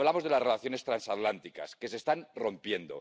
Y hablamos de las relaciones transatlánticas, que se están rompiendo.